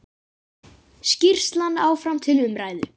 Skýrslan áfram til umræðu